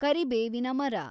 ಕರಿಬೇವಿನ ಮರ